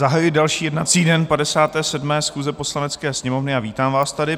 Zahajuji další jednací den 57. schůze Poslanecké sněmovny a vítám vás tady.